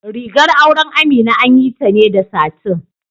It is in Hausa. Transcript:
Rigar auren Amina an yi ta ne da satin.